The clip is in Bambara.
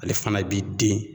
Ale fana b'i den